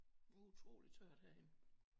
Det er utroligt tørt herinde